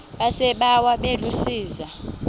yasebawa bebu zisa